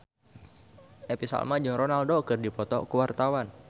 Happy Salma jeung Ronaldo keur dipoto ku wartawan